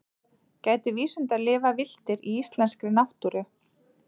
gætu vísundar lifað villtir í íslenskri náttúru